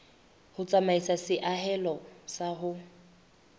ho tsamaisa seahelo sa ho